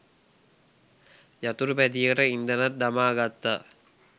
යතුරුපැදියට ඉන්ධනත් දමාගත්තා.